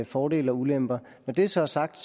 fordele og ulemper når det så er sagt